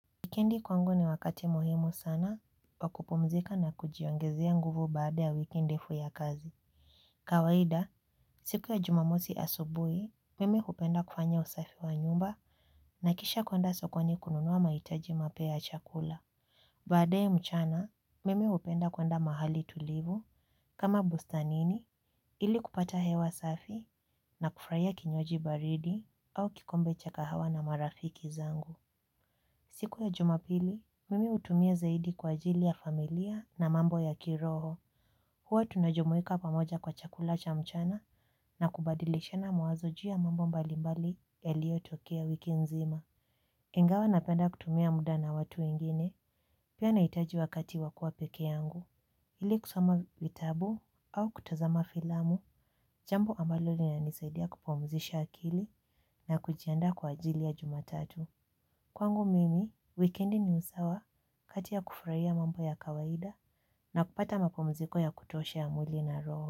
Wikendi kwangu ni wakati muhimu sana wa kupumzika na kujiongezea nguvu baada ya wiki ndefu ya kazi. Kawaida, siku ya jumamosi asubui, mimi hupenda kufanya usafi wa nyumba na kisha kuande sokoni kununua mahitaji mapya ya chakula. Baadaye mchana, mimi hupenda kupenda mahali tulivu kama bustanini ili kupata hewa safi na kufurahia kinywaji baridi au kikombe cha kahawa na marafiki zangu. Siku ya jumapili, mimi utumia zaidi kwa ajili ya familia na mambo ya kiroho. Huwa tunajumuika pamoja kwa chakula cha mchana na kubadilishena mawazo juu ya mambo mbalimbali yaliyotokea wiki nzima. Ingawa napenda kutumia muda na watu wengine, pia naitaji wakati wa kuwa peke yangu. Ili kusoma vitabu au kutazama filamu, jambo ambalo linanisaidia kupumzisha akili na kujianda kwa ajili ya jumatatu. Kwangu mimi, wikendi ni usawa kati ya kufurahia mambo ya kawaida na kupata mapummziko ya kutosha ya mwili na roo.